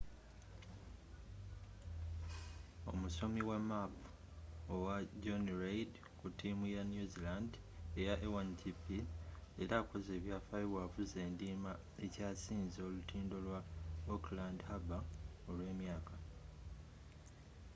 omusomi wa maapu owa jonny reid ku tiimu ya new zealand eya a1gp leero akoze ebyafaayo bwavuze endiima ekyasinze olutindo lwa auckland harbour olw'emyaka